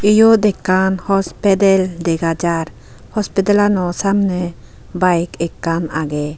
Eyot ekkan hospedal dega jaar hospidelano samne bike ekkan agey.